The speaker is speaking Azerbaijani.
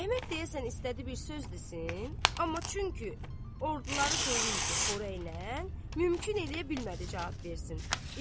Əhməd deyəsən istədi bir söz desin, amma çünki orduları dolu idi xörəklə, mümkün eləyə bilmədi cavab versin.